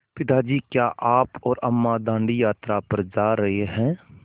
पिता जी क्या आप और अम्मा दाँडी यात्रा पर जा रहे हैं